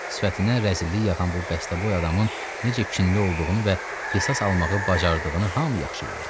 Sifətindən rəzillik yağan bu bəstəboy adamın necə kinli olduğunu və qisas almağı bacardığını hamı yaxşı bilirdi.